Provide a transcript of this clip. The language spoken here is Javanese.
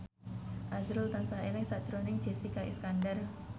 azrul tansah eling sakjroning Jessica Iskandar